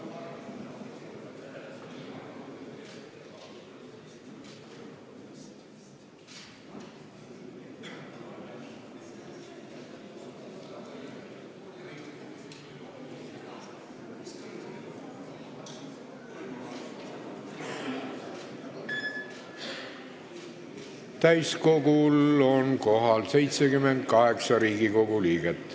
Kohaloleku kontroll Täiskogul on kohal 78 Riigikogu liiget.